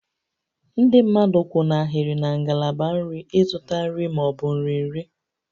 Ndị mmadụ kwụ n'ahịrị na ngalaba nri ịzụta nri ma ọ bụ nri nri